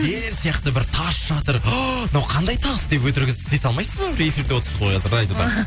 ел сияқты бір тас жатыр ааа мынау қандай тас деп өтірік іс істей салмайсыз ба бір эфирде отсыз ғой қазір радиода